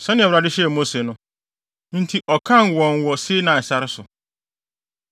sɛnea Awurade hyɛɛ Mose no. Enti ɔkan wɔn wɔ Sinai sare so.